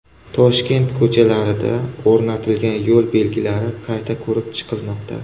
Toshkent ko‘chalarida o‘rnatilgan yo‘l belgilari qayta ko‘rib chiqilmoqda.